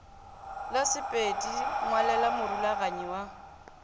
la sepedš ngwalela morulaganyi wa